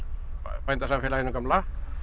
bændasamfélaginu gamla